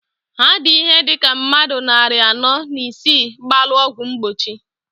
Ha di ihe dika mmadu nnarị anọọ na isii gbalụ ọgwụ mgbochi.